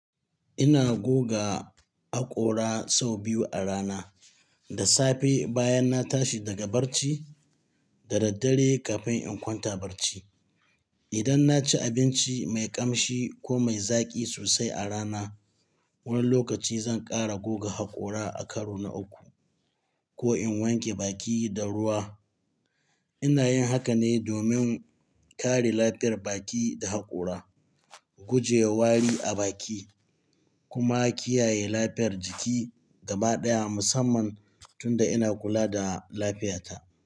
Ina goga haƙora sau biyu a rana, da safe bayan na tashi daga barci da daddare kafin in kwanta barci. Idan na ci abinci mai ƙamshi ko mai zaƙi sosai a rana, wani lokaci zan ƙara goga haƙora a karo na uku, ko in wanke baki da ruwa. Ina yin haka ne domin kare lafiyar baki da haƙora, guje wa wari a baki kuma kiyaye lafiyar jiki gaba ɗaya musamman tun da ina kula da lafiyata.